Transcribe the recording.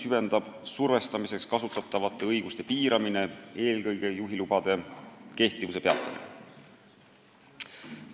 Eriti mõjub juhiloa kehtivuse peatamine.